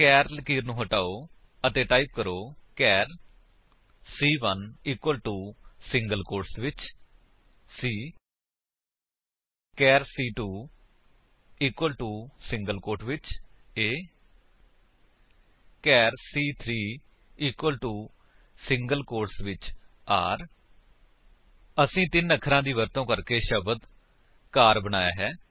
ਚਾਰ ਲਕੀਰ ਨੂੰ ਹਟਾਓ ਅਤੇ ਟਾਈਪ ਕਰੋ ਚਾਰ ਸੀ1 ਇਕੁਅਲ ਟੋ ਸਿੰਗਲ ਕੋਟਸ ਵਿੱਚ c ਚਾਰ ਸੀ2 ਇਕੁਅਲ ਟੋ ਸਿੰਗਲ ਕੋਟਸ ਵਿੱਚ a ਚਾਰ ਸੀ3 ਇਕੁਅਲ ਟੋ ਸਿੰਗਲ ਕੋਟਸ ਵਿੱਚ r ਅਸੀਂ ਤਿੰਨ ਅਖਰਾਂ ਦੀ ਵਰਤੋ ਕਰਕੇ ਸ਼ਬਦ ਸੀਏਆਰ ਬਣਾਇਆ ਹੈ